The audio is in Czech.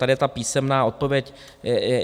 Tady je ta písemná odpověď.